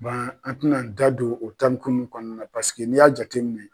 Ban an tin'an da don o tariku nun kɔɔna n'i y'a jateminɛ